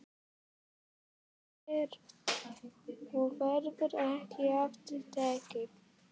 Þetta er gert og verður ekki aftur tekið.